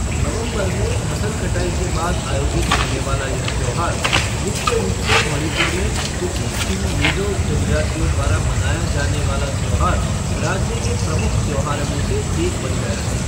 नवंबर में फसल कटाई के बाद आयोजित होने वाला यह त्योहार मुख्य रूप से मणिपुर में कुकी चिन मिज़ो जनजातियों द्वारा मनाया जाने वाला त्योहार राज्य के प्रमुख त्योहारों में से एक बन गया है।